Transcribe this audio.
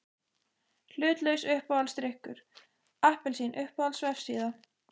Hlutlaus Uppáhaldsdrykkur: Appelsín Uppáhalds vefsíða?